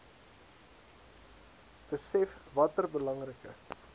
besef watter belangrike